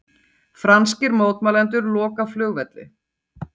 Franskir mótmælendur loka flugvelli